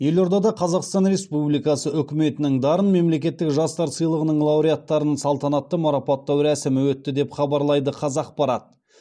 елордада қазақстан республикасы үкіметінің дарын мемлекеттік жастар сыйлығының лауреаттарын салтанатты марапаттау рәсімі өтті деп хабарлайды қазақпарат